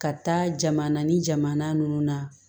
Ka taa jamana ni jamana nunnu na